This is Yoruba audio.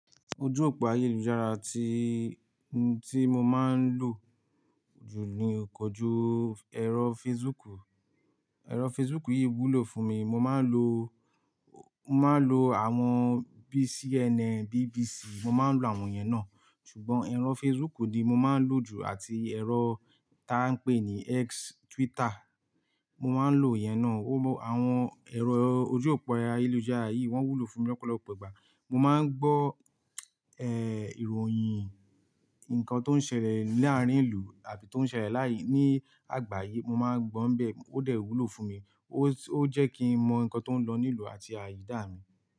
Ojú òpó ayélujára tí, tí mo máa ń lò jù ni kojú ẹ̀rọ Facebook. Ẹ̀rọ Facebook yìí wúlò fún mi. Mo máa ń lo, mo máa ń lo àwọn bii CNN, BBC, mo máa ń lo àwọn yẹn náà. Ṣùgbọ́n ẹ̀rọ Facebook ni mo máa ń lò jù àti ẹ̀rọ táa ń pè ní X Twitter, mo máa ń lò ìyẹn náà. Ó mọ àwọn ẹ̀rọ ojú òpó ayélujára yìí wọ́n wúlò fún mi lọ́pọ̀lọpọ̀ ìgbà. Mo máa ń gbọ́ ìròyìn nǹkan tó ń ṣẹlẹ̀ láàrin ìlú àbí tó ń ṣẹlẹ̀ láàyí, ní àgbáyé. Mo máa ń gbọ́ n bẹ́ẹ̀. Ó dẹ̀ wúlò fún mi. Ó, ó jẹ́ kí n mọ nǹkan tó ń lọ ní ìlú àti àyidá mi.